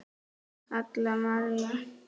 Halla María.